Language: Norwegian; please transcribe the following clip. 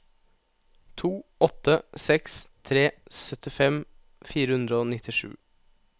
to åtte seks tre syttifem fire hundre og nittisju